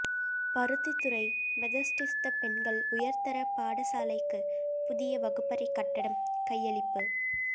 Paruthithurai Methodist பெண்கள் உயர்தர பாடசாலைக்கு புதிய வகுப்பறை கட்டடம் கையளிப்பு